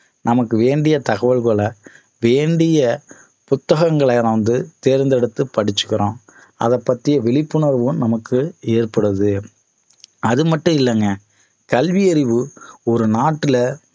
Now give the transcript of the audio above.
நமக்கு வேண்டிய தகவல்கள வேண்டிய புத்தகங்களை வந்து தேர்ந்தெடுத்து படிச்சிக்கிறோம் அத பத்திய விழிப்புணர்வும் நமக்கு ஏற்படுது அது மட்டும் இல்லைங்க கல்வி அறிவு ஒரு நாட்டுல